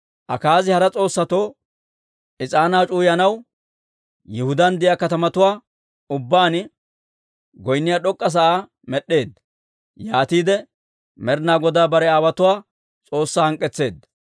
Akaazi hara s'oossatoo is'aanaa c'uwayanaw Yihudaan de'iyaa katamatuwaa ubbaan goynniyaa d'ok'k'a sa'aa med'd'eedda. Yaatiide Med'inaa Godaa bare aawotuwaa S'oossaa hank'k'etseedda.